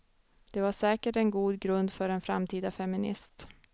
Det var säkert en god grund för en framtida feminist.